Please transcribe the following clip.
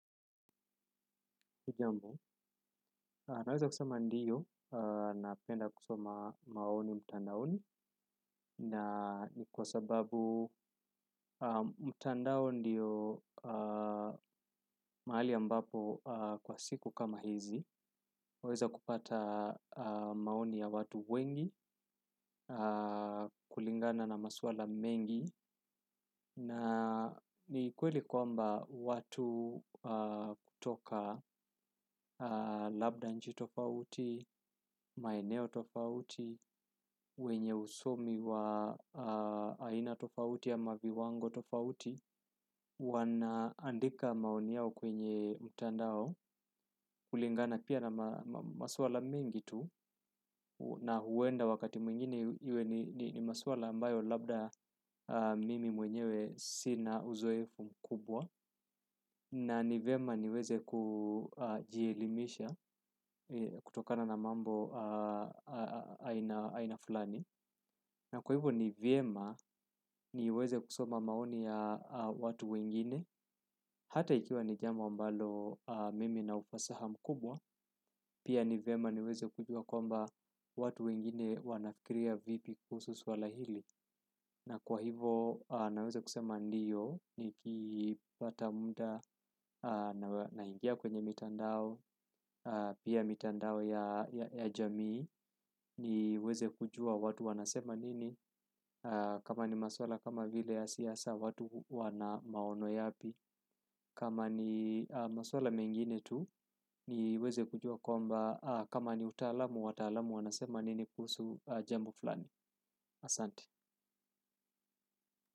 Naweza kusama ndiyo napenda kusoma maoni mtandaoni na ni kwa sababu mtandao ndiyo mahali ambapo kwa siku kama hizi. Huweza kupata maoni ya watu wengi kulingana na maswala mengi na ni kweli kwamba watu kutoka labda nchi tofauti, maeneo tofauti, wenye usomi wa aina tofauti ama viwango tofauti wanaandika maoni yao kwenye mtandao kulingana pia na ma maswala mingi tu na huenda wakati mwingine iwe ni ni maswala ambayo labda mimi mwenyewe sina uzoefu mkubwa na nivema niweze kujielimisha kutokana na mambo aina aina fulani na kwa hivyo nivyema niweze kusoma maoni ya watu wengine hata ikiwa ni jambo ambalo mimi na ufasaha mkubwa pia ni vema niweze kujua kwamba watu wengine wanafikiria vipi kuhusu swala hili na kwa hivo naweze kusema ndiyo, nikipata mda nawe naingia kwenye mitandao, pia mitandao ya ya jamii, niweze kujua watu wanasema nini. Kama ni maswala kama vile ya siasa watu wana maono yapi kama ni maswala mengine tu niweze kujua kwamba kama ni utaalamu wataalamu wanasema nini kuhsu jambo flani. Asanti.